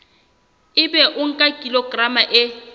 ebe o nka kilograma e